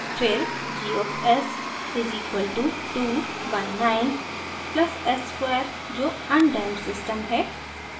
फिर g of s is equal to 2 by 9 plus s square जो undamped system है